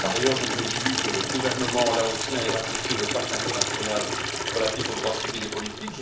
Par ailleurs, je me réjouis que le gouvernement laotien ait ratifié le pacte international relatif aux droits civils et politiques.